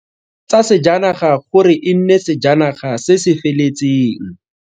Tsa sejanaga gore e nne sejana ga se se feletseng.